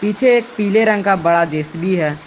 पीछे एक पीले रंग का बड़ा जे_सी_बी है।